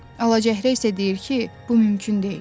Alacəhrə isə deyir ki, bu mümkün deyil.